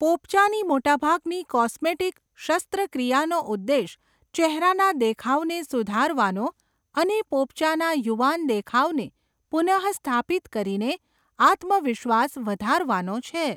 પોપચાંની મોટાભાગની કોસ્મેટિક શસ્ત્રક્રિયાઓનો ઉદ્દેશ ચહેરાના દેખાવને સુધારવાનો અને પોપચાના યુવાન દેખાવને પુનઃસ્થાપિત કરીને આત્મવિશ્વાસ વધારવાનો છે.